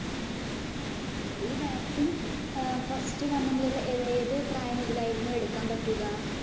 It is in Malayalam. ആ അതെ ഇല്ലേ. ഈ vaccine first വന്ന മുതല്‍ ഏതു പ്രായം മുതലായിരുന്നു എടുക്കാന്‍ പറ്റുക?